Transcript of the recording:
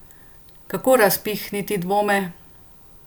Kako razpihniti dvome?